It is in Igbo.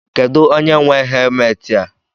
Kedụ onye nwe helmetị a?